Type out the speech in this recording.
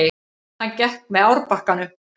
Hann gekk með árbakkanum.